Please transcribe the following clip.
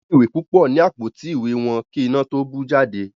Wón ní ìwé púpọ ní Àpótí ìwé wón kí iná tó bú jáde